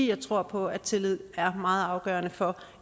jeg tror på at tillid er meget afgørende for